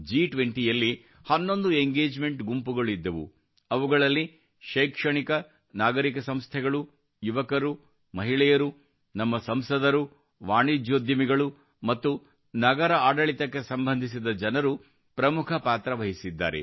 G20 ರ ಹನ್ನೊಂದು engagement ಗುಂಪುಗಳಿದ್ದವು ಅವುಗಳಲ್ಲಿ ಶೈಕ್ಷಣಿಕ ನಾಗರಿಕ ಸಂಸ್ಥೆಗಳು ಯುವಕರು ಮಹಿಳೆಯರು ನಮ್ಮ ಸಂಸದರು ವಾಣಿಜ್ಯೋದ್ಯಮಿಗಳು ಮತ್ತು ನಗರ ಆಡಳಿತಕ್ಕೆ ಸಂಬಂಧಿಸಿದ ಜನರು ಪ್ರಮುಖ ಪಾತ್ರ ವಹಿಸಿದ್ದಾರೆ